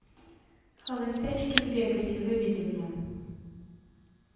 холостячки в вегасе выведи мне